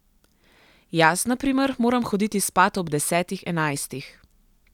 Jaz, na primer, moram hoditi spat ob desetih, enajstih.